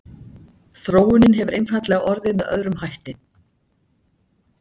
þróunin hefur einfaldlega orðið með öðrum hætti